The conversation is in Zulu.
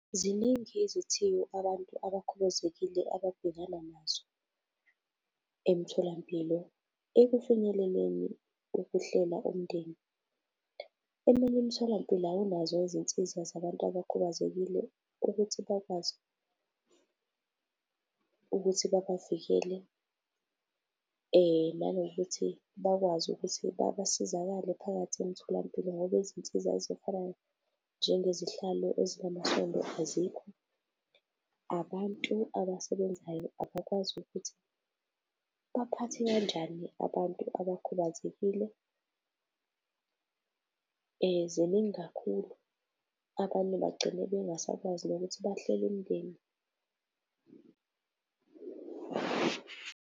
Ziningi izithiyo abantu abakhubazekile ababhekana nazo emtholampilo ekufinyeleleni ukuhlela umndeni. Eminye imitholampilo awunazo izinsiza zabantu abakhubazekile ukuthi bakwazi ukuthi babavikele. Nanokuthi bakwazi ukuthi basizakale phakathi emtholampilo ngoba izinsiza ezifana njengezihlalo ezinamasondo azikho. Abantu abasebenzayo abakwazi ukuthi baphathe kanjani abantu abakhubazekile, ziningi kakhulu. Abanye bagcine bengasakwazi nokuthi bahlele umndeni.